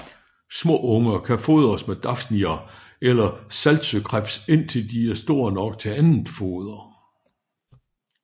Små unger kan fodres med dafnier eller saltsøkrebs indtil de er store nok til andet foder